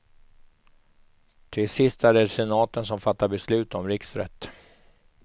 Till sist är det senaten som fattar beslut om riksrätt.